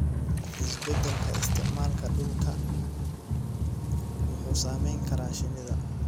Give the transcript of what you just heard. Isbeddelka isticmaalka dhulka wuxuu saameyn karaa shinida.